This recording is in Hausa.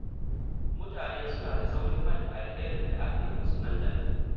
Mutane suna da saurin manta alherin da aka yi musu nan da nan.